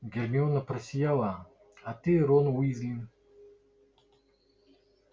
гермиона просияла а ты рон уизли